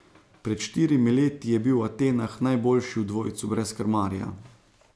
Pred štirimi leti je bil v Atenah najboljši v dvojcu brez krmarja.